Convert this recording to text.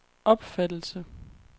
opfattelse